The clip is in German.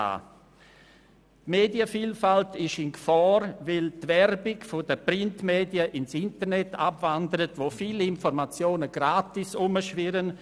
Die Medienvielfalt ist in Gefahr, weil die Werbung der Printmedien ins Internet abwandert, wo viele Informationen gratis herumschwirren;